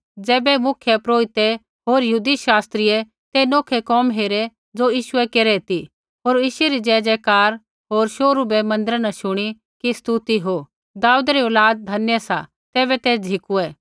ज़ैबै मुख्यपुरोहिते होर यहूदी शास्त्रियै ते नोखै कोम हेरै ज़ो यीशुऐ केरै ती होर यीशु री जयजयकार होर शोहरू बै मन्दिरा न शुणी कि स्तुति हो दाऊदै री औलाद धन्य सा तैबै ते झ़िकुऐ